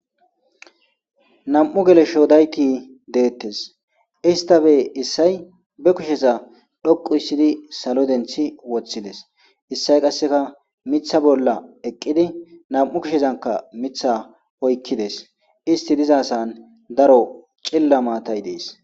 nam7u geleshoodaykki deettes istabe issay be kushesa dhoqu issidi salo denthi woththides issay qasseka mitha bolla eqqidi nam7u kushezanka mitha oykkides isti dizasan daro cilla maatay dees